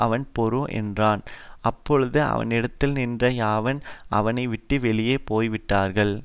அவன் பொறு என்றான் அப்பொழுது அவனிடத்தில் நின்ற யாவரும் அவனை விட்டு வெளியே போய் விட்டார்கள்